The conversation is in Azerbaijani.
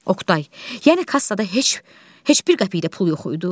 Oqtay, yəni kassada heç, heç bir qəpik də pul yox idi?